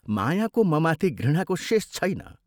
"मायाको ममाथि घृणाको शेष छैन।